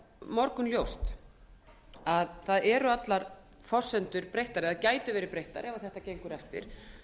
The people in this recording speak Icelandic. morgunljóst að það eru allar forsendur breyttar eða gætu verið breyttar ef þetta gengur eftir